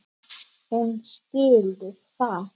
Hún skilur það.